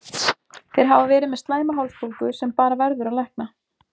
Þeir hafa verið með slæma hálsbólgu sem bara verður að lækna.